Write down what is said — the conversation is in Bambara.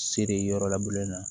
Seri yɔrɔ la bulon na